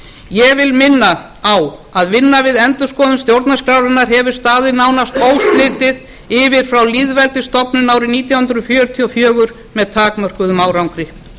ég vil minna á að vinna við endurskoðun stjórnarskrárinnar hefur staðið nánast óslitið yfir frá lýðveldisstofnun árið nítján hundruð fjörutíu og fjögur með takmörkuðum árangri